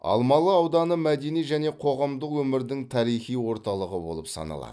алмалы ауданы мәдени және қоғамдық өмірдің тарихи орталығы болып саналады